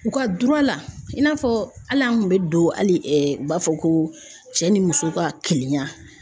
U ka la i n'a fɔ hali an kun be don hali u b'a fɔ ko cɛ ni muso ka kelenya